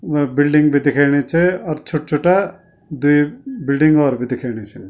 म बिल्डिंग बि दिखेणि च अर छुट्ट-छुट्टा द्वि बिल्डिंग हौर बि दिखेंणि छिन।